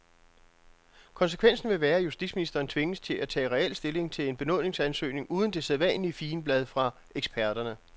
Konsekvensen vil være, at justitsministeren tvinges til at tage reel stilling til en benådningsansøgning uden det sædvanlige figenblad fra eksperterne.